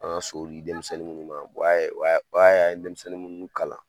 An ga so di denmisɛnnin munnu ma o y'a o y'a an ye denmisɛnnin munnu kalan